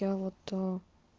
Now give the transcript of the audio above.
я вот